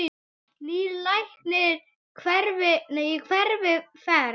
Nýr læknir í hverri ferð.